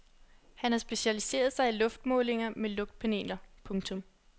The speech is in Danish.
Han har specialiseret sig i luftmålinger med lugtpaneler. punktum